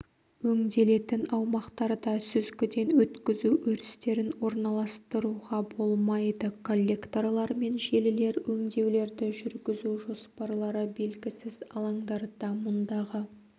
өңделетін аумақтарда сүзгіден өткізу өрістерін орналастыруға болмайды коллекторлар мен желілер өңдеулерді жүргізу жоспарлары белгісіз алаңдарда мұндағы